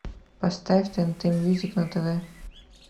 поставь тнт мьюзик на тв